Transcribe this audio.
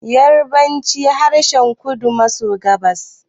Yarabanci harshen kudu maso gabas